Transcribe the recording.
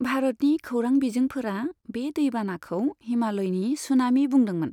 भारतनि खोरां बिजोंफोरा बे दै बानाखौ हिमालयनि सुनामि बुंदोंमोन।